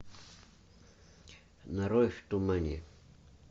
нарой в тумане